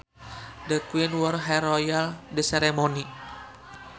The queen wore her royal robes at the ceremony